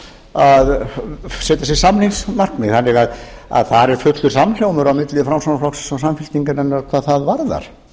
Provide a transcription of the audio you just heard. að setja sér samningsmarkmið þannig að þar er fullur samhljómur á milli framsóknarflokksins og samfylkingarinnar hvað það varðar